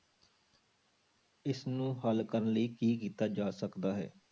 ਇਸਨੂੰ ਹੱਲ ਕਰਨ ਲਈ ਕੀ ਕੀਤਾ ਜਾ ਸਕਦਾ ਹੈ?